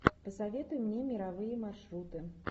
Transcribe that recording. посоветуй мне мировые маршруты